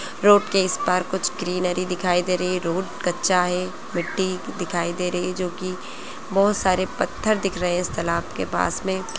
Road के इस पार कुछ ग्रीनरी दिखाई दे रही है रोड कच्चा है मिट्टी दिखाई दे रही है जो कि बहुत सारे पत्थर दिख रहे है इस तालाब के पास मे।